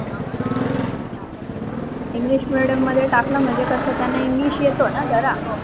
Englishmedium मध्ये टाकल म्हणजे कसा त्यांना english येत ना झरा.